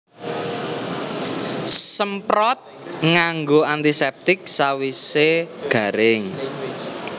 Semprot nganggo antiseptik sawise garing